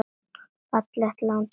Fallegt land og frábært fólk.